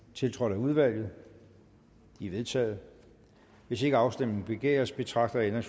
tiltrådt af udvalget de er vedtaget hvis ikke afstemning begæres betragter jeg